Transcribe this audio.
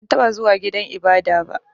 Ban taɓa zuwa gidan ibada ba.